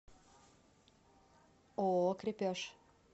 ооо крепеж